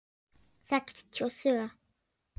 Sextíu og sjö.